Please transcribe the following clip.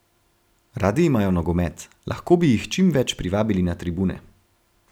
Radi imajo nogomet, lahko bi jih čim več privabili na tribune.